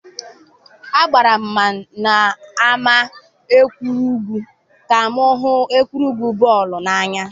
agbagara m n'ámá egwuregwu ka m hụ egwuregwu bọọlụ n'anya.